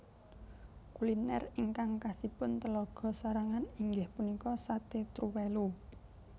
Kuliner ingkang khasipun Telaga sarangan inggih punika Sate Truwèlu